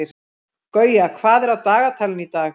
Gauja, hvað er á dagatalinu í dag?